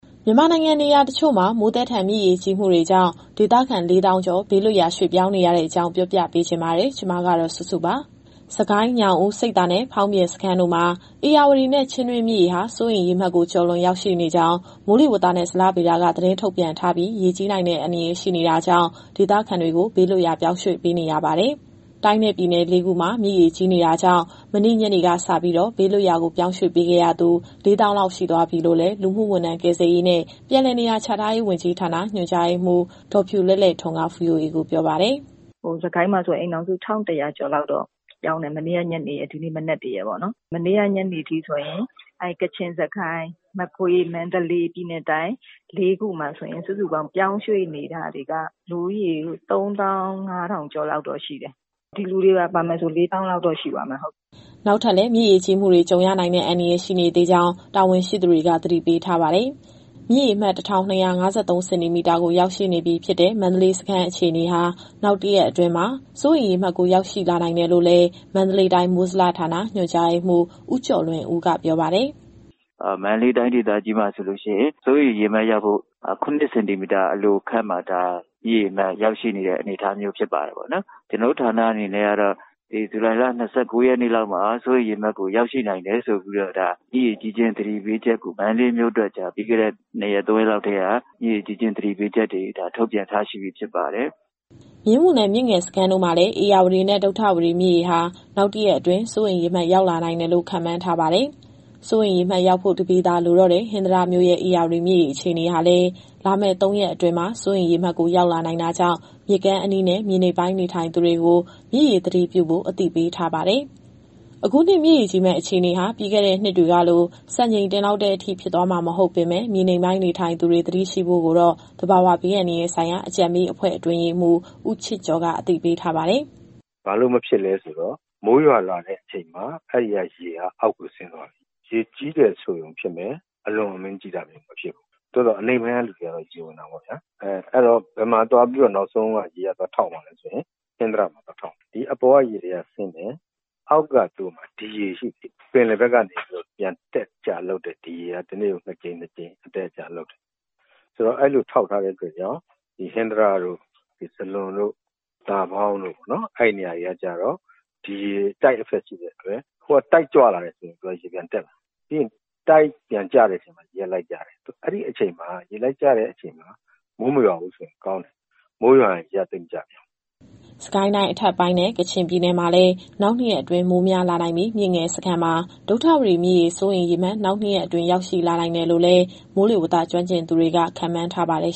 မြန်မာနိုင်ငံနေရာတချို့မှာ မိုးသည်းထန် မြစ်ရေကြီးမှုတွေကြောင့် ဒေသခံ ၄၀,၀၀၀ ကျော် ဘေးလွတ်ရာ ရွှေ့ပြောင်းနေရတဲ့အကြောင်း ဗွီအိုအေမြန်မာပိုင်း သတင်းထောက်စုစုက ပြောပြသွားပါမယ်။ စစ်ကိုင်း၊ ညောင်ဦး၊ ဆိပ်သာနဲ့ ဖောင်းပြင်စခန်းတို့မှာ ဧရာဝတီနဲ့ ချင်းတွင်းမြစ်ရေဟာ စိုးရိမ်ရေမှတ်ကို ကျော်လွန်ရောက်ရှိနေကြောင်း မိုးလေဝသနဲ့ ဇလဗေဒက သတင်းထုတ်ပြန်ထားပြီး ရေကြီးနိုင်တဲ့ အန္တရာယ်ရှိနေတာကြောင့် ဒေသခံတွေကို ဘေးလွတ်ရာ ပြောင်းရွှေ့ပေးနေရပါတယ်။ တိုင်းနဲ့ပြည်နယ် လေး ခုမှာ မြစ်ရေကြီးတာကြောင့် မနေ့ညနေကစ ဘေးလွတ်ရာ ပြောင်းရွှေ့ပေးခဲ့ရသူ ၄၀,၀၀၀ လောက် ရှိသွားပြီလို့လည်း လူမှုဝန်ထမ်း၊ ကယ်ဆယ်ရေးနဲ့ ပြန်လည်နေရာချထားရေး ဝန်ကြီးဌာန ညွှန်ကြားရေးမှူး ဒေါ်ဖြူလဲ့လဲ့ထွန်းက VOA ကိုပြောပါတယ်။ “စစ်ကိုင်းမှာဆို အိမ်ထောင်စု ၁,၁၀၀ ကျော်လောက်ပြောင်းတယ်။ မနေ့ကညနေနဲ့ ဒီနေ့မနက်ပေါ့။ မနေ့ကညနေထိဆိုရင် ကချင်၊ စစ်ကိုင်း၊ မကွေး၊ မန္တလေး၊ ပြည်နယ်နဲ့တိုင်း လေးခုမှာဆိုရင် စုစုပေါင်း ပြောင်းရွှေ့နေတာတွေက လူဦးရေ ၃၅,၀၀၀ ကျော်လောက်တော့ရှိတယ်။ ဒီလူတွေပါ ပါမယ်ဆိုရင် ၄၀,၀၀၀ လောက်တော့ရှိသွားမယ်။” နောက်ထပ်လည်း မြစ်ရေကြီးမှုတွေ ကြုံရနိုင်တဲ့အန္တရာယ် ရှိနေသေးကြောင်း တာဝန်ရှိသူတွေက သတိပေးထားပါတယ်။ မြစ်ရေမှတ် ၁,၂၅၃ စင်တီမီတာကို ရောက်ရှိနေပြီဖြစ်တဲ့ မန္တလေးစခန်းအခြေအနေဟာ နောက်တရက်အတွင်းမှာ စိုးရိမ်ရေမှတ်ကို ရောက်ရှိလာနိုင်တယ်လို့လည်း မန္တလေးတိုင်း မိုးဇလဌာန ညွှန်ကြားရေးမှူး ဦးကျော်လွင်ဦးက ပြောပါတယ်။ “မန္တလေးတိုင်း ဒေသကြီးမှာဆိုရင် စိုးရိမ်ရေမှတ်ရောက်ဖို့ ၇ စင်တီမီတာ အလိုခန့်မှာ မြစ်ရေအမှတ်ရောက်ရှိနေတဲ့ အနေအထားမျိုးဖြစ်ပါတယ်။ ကျနော်တို့ဌာနအနေနဲ့ကတော့ ဇူလိုင်လ ၂၉ ရက်နေ့လောက်မှာ စိုးရိမ်ရေမှတ်ကို ရောက်ရှိနိုင်တယ်ဆိုပြီးတော့ မြစ်ရေကြီးခြင်းသတိပေးချက်ကို မန္တလေးမြို့အတွက် ပြီးခဲ့တဲ့ ၂ရက် - ၃ရက်လောက်ကတည်းက ထုတ်ပြန်ထားရှိပြီး ဖြစ်ပါတယ်။” မြင်းမူနဲ့ မြစ်ငယ်စခန်းတို့မှာလည်း ဧရာဝတီနဲ့ ဒုဌဝတီမြစ်ရေဟာ နောက်တရက်အတွင်း စိုးရိမ်ရေမှတ် ရောက်လာနိုင်တယ်လို့ ခန့်မှန်းထားပါတယ်။ စိုးရိမ်ရေမှတ်ရောက်ဖို့ ၁ ပေသာလိုတော့တဲ့ ဟင်္သာတမြို့ရဲ့ ဧရာဝတီမြစ်ရေအခြေအနေဟာလည်း လာမယ့် ၃ ရက်အတွင်းမှာ စိုးရိမ်ရေမှတ်ကိုရောက်လာနိုင်တာကြောင့် မြစ်ကမ်းအနီးနဲ့ မြေနိမ့်ပိုင်းနေသူတွေကို မြစ်ရေသတိပြုဖို့ အသိပေးထားပါတယ်။ အခုနှစ်ရေကြီးမယ့်အခြေအနေဟာ ပြီးခဲ့တဲ့နှစ်တွေလို စံချိန်တင်လောက်တဲ့အထိ ဖြစ်သွားမှာမဟုတ်ပေမယ့် မြေနိမ့်ပိုင်းနေထိုင်သူတွေ သတိရှိဖို့ကိုတော့ သဘာဝဘေးအန္တရာယ်ဆိုင်ရာ အကြံပေးအဖွဲ့အတွင်းရေးမှူး ဦးချစ်ကျော်က အကြံပေးထားပါတယ်။ “ဘာလို့မဖြစ်လည်းဆိုတော့ မိုးရွာလာတဲ့အချိန်မှာ အဲဒီကရေက အောက်ကိုဆင်းသွားပြီ။ ရေကြီးတယ်ဆိုရုံဖြစ်မယ်။ အလွန်အမင်းကြီးတာမျိုး မဖြစ်ဘူး။ သို့သော် အနိမ့်ပိုင်းကလူတွေကတော့ ရေဝင်တာပေါ့ဗျာ။ အဲတော့ နောက်ဆုံးဘယ်မှာသွားပြီးတော့ ရေကသွားထောက်မှာလည်းဆိုရင် ဟင်္သာတမှာသွားထောက်မယ်။ ဒီအပေါ်ကရေတွေက ဆင်းတယ်။ အောက်ကသူတို့မှာ ဒီရေရှိနေတယ်။ ပင်လယ်ဘက်ကနေ ပြန်အတက်အကျလုပ်တဲ့ဒီရေက တနေ့ကို ၂ ကြိမ် အတက်အကျလုပ်တယ်။ ဆိုတော့ အဲလိုထောက်ထားတော့ ဟင်္သာတ၊ ဇလွန်၊ သာပေါင်း၊ အဲဒီနေရာတွေက ဒီရေ Tide Effect ရှိတဲ့အတွက် ဟိုက Tide ကြွလာတဲ့အချိန် သူတို့ရေပြန်တက်မယ်။ ပြီးရင် Tide ပြန်ကျတဲ့အချိန် ဒီရေကလိုက်ကျတယ်။ အဲဒီ ရေလိုက်ကျတဲ့အချိန်မှာ မိုးမရွာဘူးဆိုရင်ကောင်းတယ်။ မိုးရွာရင် ရေကသိပ်မကျပြန်ဘူး။" စစ်ကိုင်းတိုင်းအထက်ပိုင်းနဲ့ ကချင်ပြည်နယ်မှာလည်း နောက် ၂ ရက်အတွင်း မိုးများလာနိုင်ပြီး၊ မြစ်ငယ်စခန်းမှာ ဒုဌဝတီမြစ်ရေ စိုးရိမ်ရေမှတ် နောက် ၂ ရက်အတွင်းရောက်ရှိလာနိုင်တယ်လို့လည်း မိုးလေဝသ ကျွမ်းကျင်သူတွေက ခန့်မှန်းထားပါတယ်